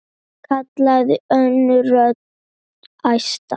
kallaði önnur rödd, æstari.